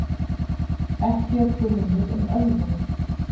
Ekki er grunur um ölvun.